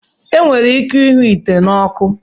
E nwere ike ịhụ nte n'oku